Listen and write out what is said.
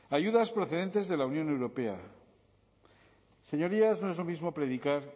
ayudas procedentes de la unión europea señorías no es lo mismo predicar